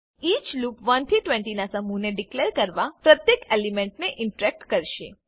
each loop 1 થી 20 ના સમૂહને ડીકલેર કરવા પ્રત્યેક એલિમેન્ટને ઇટરેટ કરેશે